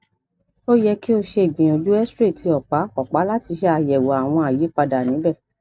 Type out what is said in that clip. o yẹ ki o ṣe igbiyanju xray ti ọpa ọpa lati ṣe ayẹwo awọn ayipada nibẹ